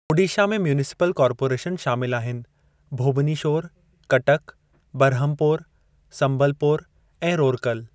ओडीशा में municipal corporation शामिलु आहिनि भोबनीशोर, कटक, बरहमपोर, समबलपोर ऐं रोरकल।